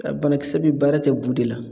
Banakisɛ bɛ baara kɛ bu de la.